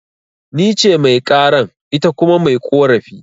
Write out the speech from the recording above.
Nice Mai karan, ita kuma mai ƙorafi